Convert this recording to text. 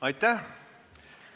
Aitäh!